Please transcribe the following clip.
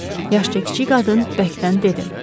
Yaşca kiçik qadın bərkdən dedi.